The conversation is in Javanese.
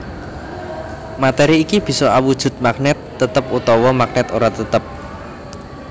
Matéri iki bisa awujud magnèt tetep utawa magnèt ora tetep